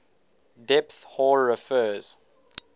depth hoar refers